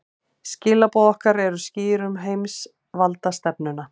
Skilaboð okkar eru skýr um heimsvaldastefnuna